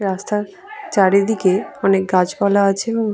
রাস্তার চারিদিকে অনেক গাছপালা আছে এবং --